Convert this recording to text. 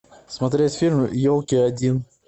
смотреть фильм елки один